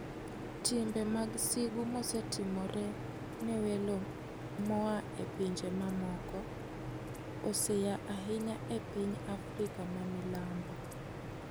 Timbe mag sigu mosetimore ne welo moa e pinje mamoko, osenya ahinya e piny Africa ma milambo.